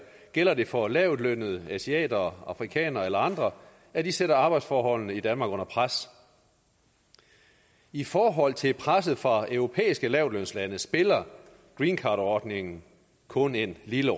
gælder det for lavtlønnede asiater afrikanere eller andre at de sætter arbejdsforholdene i danmark under pres i forhold til presset fra europæiske lavtlønslande spiller greencardordningen kun en lille